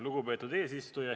Lugupeetud eesistuja!